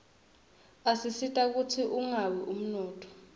asita kutsi ungawi umnotfo